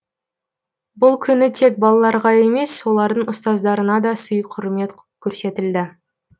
бұл күні тек балаларға емес олардың ұстаздарына да сый құрмет көрсетілді